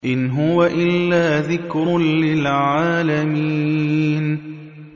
إِنْ هُوَ إِلَّا ذِكْرٌ لِّلْعَالَمِينَ